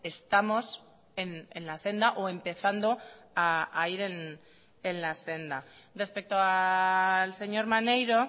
estamos en la senda o empezando a ir en la senda respecto al señor maneiro